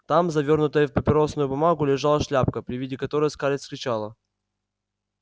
там завёрнутая в папиросную бумагу лежала шляпка при виде которой скарлетт вскричала